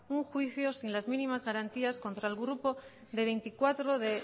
un juicio sin las mínimas garantías contra el grupo de veinticuatro de